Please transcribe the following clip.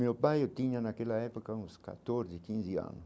Meu pai, eu tinha naquela época uns catorze, quinze anos.